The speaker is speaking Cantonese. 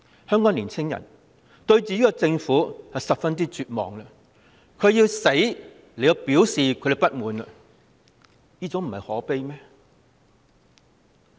香港的年青人對自己的政府絕望，要以死表達自己的不滿，真的非常可悲。